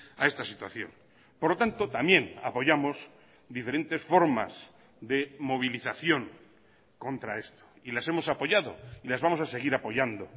a esta situación por lo tanto también apoyamos diferentes formas de movilización contra esto y las hemos apoyado y las vamos a seguir apoyando